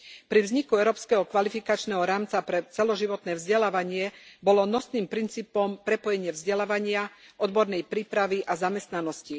Pri vzniku Európskeho kvalifikačného rámca pre celoživotné vzdelávanie bolo nosným princípom prepojenie vzdelávania, odbornej prípravy a zamestnanosti.